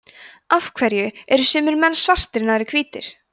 af hverju eru sumir menn svartir en aðrir hvítir